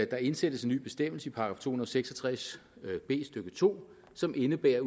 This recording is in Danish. der indsættes en ny bestemmelse i § to hundrede og seks og tres b stykke to som indebærer at